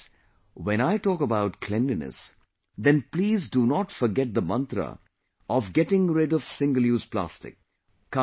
And yes, when I talk about cleanliness, then please do not forget the mantra of getting rid of Single Use Plastic